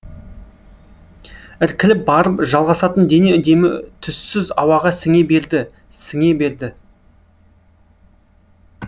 іркіліп барып жалғасатын дене демі түссіз ауаға сіңе берді сіңе берді